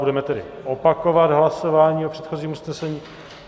Budeme tedy opakovat hlasování o předchozím usnesení.